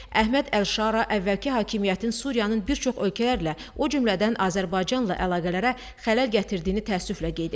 Əhməd Əlşara əvvəlki hakimiyyətin Suriyanın bir çox ölkələrlə, o cümlədən Azərbaycanla əlaqələrə xələl gətirdiyini təəssüflə qeyd etdi.